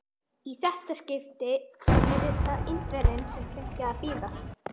Í þetta skipti yrði það Indverjinn, sem fengi að bíða.